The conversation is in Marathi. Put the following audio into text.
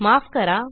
माफ करा